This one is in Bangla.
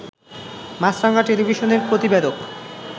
মাছরাঙা টেলিভিশনের প্রতিবেদক